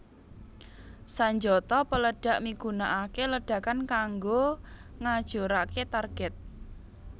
Sanjata peledhak migunakaké ledakan kanggo ngajuraké target